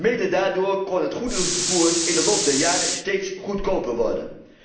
Mede daardoor kon het goederenvervoer in de loop der jaren steeds goedkoper worden.